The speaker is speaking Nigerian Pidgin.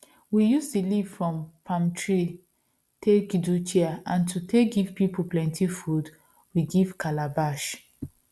we use the leaf from palm trees take do chair and to take give people plenty food we give calabash